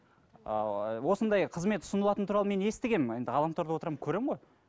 ыыы осындай қызмет ұсынылатыны туралы мен естігенмін енді ғаламторда отырамын көремін ғой